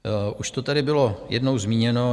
Už to tady bylo jednou zmíněno.